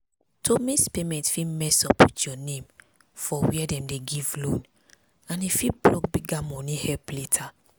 to miss payment fit mess up your name for where dem dey give loan and e fit block bigger money help later.